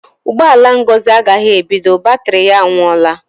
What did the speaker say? Ụgbọ ala Ngozi agaghị ebido; batrị ya anwụọla.